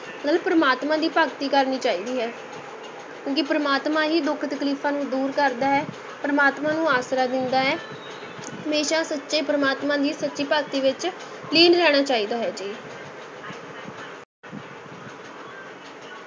ਨਾਲੇ ਪ੍ਰਮਾਤਮਾ ਦੀ ਭਗਤੀ ਕਰਨੀ ਚਾਹੀਦੀ ਹੈ ਕਿਉਂਕਿ ਪ੍ਰਮਾਤਮਾ ਹੀ ਦੁੱਖ ਤਕਲੀਫ਼ਾਂ ਨੂੰ ਦੂਰ ਕਰਦਾ ਹੈ ਪ੍ਰਮਾਤਮਾ ਨੂੰ ਆਸਰਾ ਦਿੰਦਾ ਹੈੈ, ਹਮੇਸ਼ਾ ਸੱਚੇ ਪ੍ਰਮਾਤਮਾ ਦੀ ਸੱਚੀ ਭਗਤੀ ਵਿੱਚ ਲੀਨ ਰਹਿਣਾ ਚਾਹੀਦਾ ਹੈ ਜੀ।